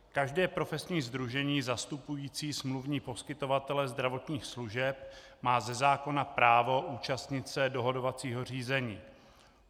Každé profesní sdružení zastupující smluvní poskytovatele zdravotních služeb má ze zákona právo účastnit se dohodovacího řízení.